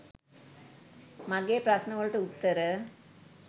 මගෙ ප්‍රශ්ණ වලට උත්තර.